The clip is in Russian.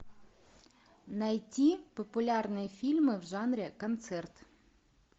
найти популярные фильмы в жанре концерт